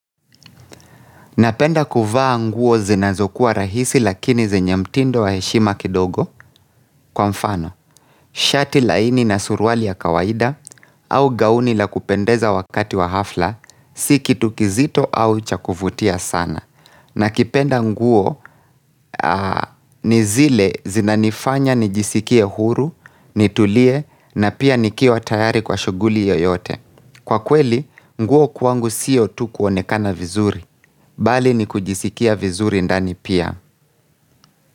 Napenda kuvaa nguo zinazokuwa rahisi lakini zenye mtindo wa heshima kidogo kwa mfano Shati laini na suruali ya kawaida au gauni la kupendeza wakati wa hafla si kitu kizito au cha kuvutia sana nakipenda nguo ni zile zinanifanya nijisikie huru, nitulie na pia nikiwa tayari kwa shughuli yoyote. Kwa kweli, nguo kwangu siyo tu kuonekana vizuri. Bali ni kujisikia vizuri ndani pia.